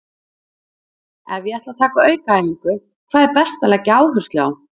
Ef ég ætla að taka aukaæfingu, hvað er best að leggja áherslu á?